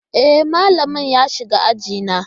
E, malamin ya shiga aji na.